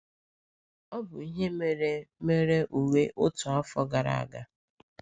Ọ bụ ihe mere mere Uwe otu afọ gara aga.